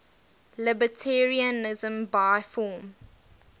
libertarianism by form